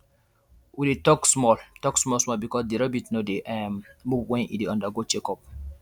we dey talk small talk small small because the rabbit no dey um move when e dey undergo check up um